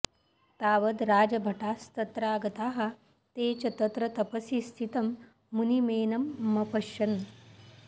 तावद् राजभटास्तत्रागताः ते च तत्र तपसि स्थितं मुनिमेनमपश्यन्